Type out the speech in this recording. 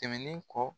Tɛmɛnen kɔ